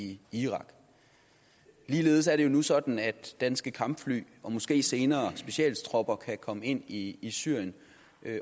i irak ligeledes er det jo nu sådan at danske kampfly og måske senere specialtropper kan komme ind i i syrien